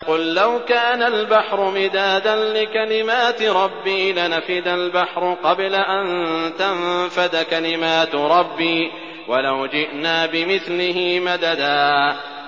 قُل لَّوْ كَانَ الْبَحْرُ مِدَادًا لِّكَلِمَاتِ رَبِّي لَنَفِدَ الْبَحْرُ قَبْلَ أَن تَنفَدَ كَلِمَاتُ رَبِّي وَلَوْ جِئْنَا بِمِثْلِهِ مَدَدًا